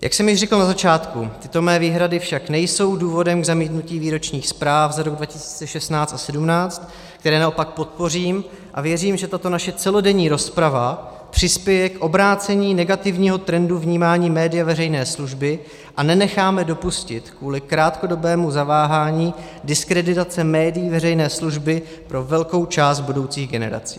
Jak jsem již řekl na začátku, tyto mé výhrady však nejsou důvodem k zamítnutí výročních zpráv za rok 2016 a 2017, které naopak podpořím, a věřím, že tato naše celodenní rozprava přispěje k obrácení negativního trendu vnímání média veřejné služby a nenecháme dopustit kvůli krátkodobému zaváhání diskreditaci médií veřejné služby pro velkou část budoucích generací.